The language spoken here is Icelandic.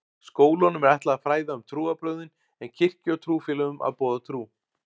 Skólanum er ætlað að fræða um trúarbrögðin en kirkju og trúfélögum að boða trú.